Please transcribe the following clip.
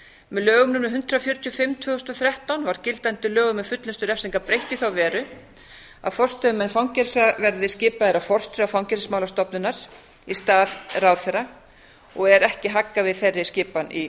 lögum númer hundrað fjörutíu og fimm tvö þúsund og þrettán var gildandi lögum um fullnustu refsinga breytt í þá veru að forstöðumenn fangelsa verði skipaðir af forstjóra fangelsismálastofnunar í stað ráðherra og er ekki haggað við þeirri skipan í